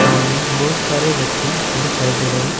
सामने बहुत सारे व्यक्ति दिखाई दे रहे हैं।